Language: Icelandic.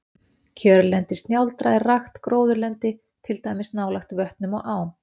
Kjörlendi snjáldra er rakt gróðurlendi, til dæmis nálægt vötnum og ám.